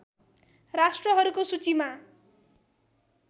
राष्ट्रहरूको सूचीमा